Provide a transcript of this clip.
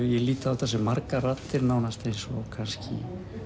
ég lít á þetta sem margar raddir nánast eins og kannski